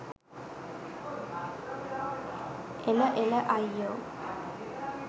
එළ එළ අයියෝ